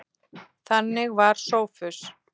Þannig var Sófus.